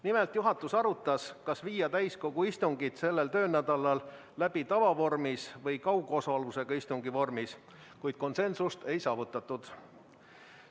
Nimelt juhatus arutas, kas viia täiskogu istungid sellel töönädalal läbi tavavormis või kaugosalusega istungi vormis, kuid konsensust ei saavutatud.